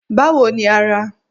Báwo ni ara?